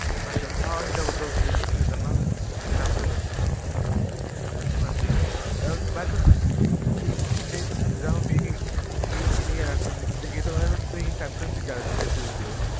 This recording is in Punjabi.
ਅਛਾ ਅਛਾ, ਹਾਂ double doorfridge ਵੀ ਖਰੀਦਣ ਨਾ, ਸੈਮਸੰਗ? ਹਾਂਜੀ ਏਦਾ ਮਤਲਬ ਤੁਸੀਂ ਸੈਮਸੰਗ ਦੀ ਜਾਦਾ ਚੀਜਾਂ ਖ੍ਰੀਦ੍ਦ੍ਦੇ ਹੋ